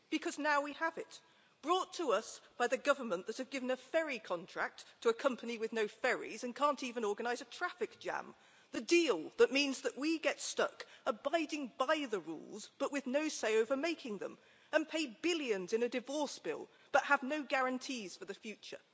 Because now we have it, brought to us by the government that have given a ferry contract to a company with no ferries and can't even organise a traffic jam the deal that means that we get stuck abiding by the rules, but with no say over making them and pay billions in a divorce bill but have no guarantees for the future.